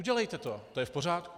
Udělejte to, to je v pořádku.